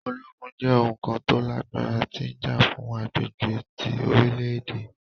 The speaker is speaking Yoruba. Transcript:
Ologun jẹ oun kan to lagbara ti ja fun agbegbe ti orilẹ-ede.